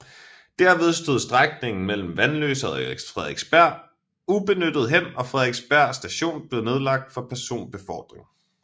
Derved stod strækningen mellem Vanløse og Frederiksberg ubenyttet hen og Frederiksberg Station blev nedlagt for personbefordring